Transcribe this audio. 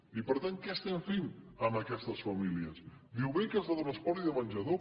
i per tant què estem fent amb aquestes famílies diu beques de transport i de menjador